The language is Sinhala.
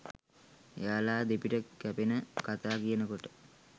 එයාල දෙපිට කැපෙන කතා කියනකොට